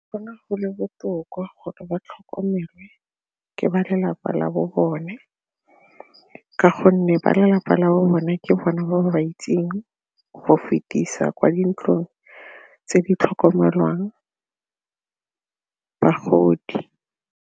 Go ne go le botoka gore ba tlhokomele ke ba lelapa la bo bone ka gonne ba lelapa la bone ke bona ba ba itseng go fetisa kwa dintlong tse di tlhokomelang bagodi.